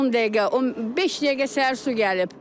10 dəqiqə, beş dəqiqə səhər su gəlib.